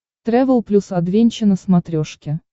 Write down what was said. трэвел плюс адвенча на смотрешке